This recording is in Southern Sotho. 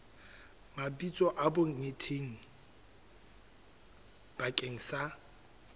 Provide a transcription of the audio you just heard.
mabitso a bonkgetheng bakeng sa